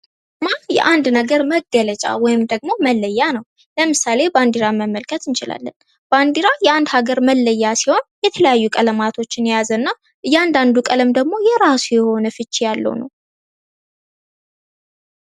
ይህ የአንድ ነገር መለያ ወይም መገለጫ ናው። ለምሳሌ ባንዲራ መመልከት እንችላለን። የአንድ ሀገር መለያ ሲሆን የተለያየ ቀለማቶች የያዘ ሲሆን እያንዳንዱ ቀለም ደግሞ የራሱ ፍች ያለው ነው።